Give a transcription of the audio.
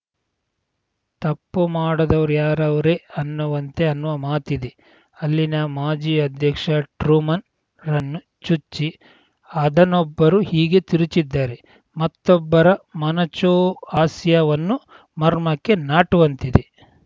ತಪ್ಪು ಮಾಡದವ್‌ರ ಯಾರವ್ರೆ ಅನ್ನುವಂತೆ ಅನ್ನುವ ಮಾತಿದೆ ಅಲ್ಲಿನ ಮಾಜಿ ಅಧ್ಯಕ್ಷ ಟ್ರೂಮನ್‌ ರನ್ನು ಚುಚ್ಚಿ ಅದನ್ನೊಬ್ಬರು ಹೀಗೆ ತಿರುಚಿದ್ದಾರೆ ಮತ್ತೊಬ್ಬರ ಮೊನಚು ಹಾಸ್ಯವನ್ನೂ ಮರ್ಮಕ್ಕೆ ನಾಟುವಂತಿದೆ